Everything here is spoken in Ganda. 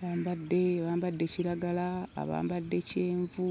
Bambadde bambadde kiragala, abambadde kyenvu.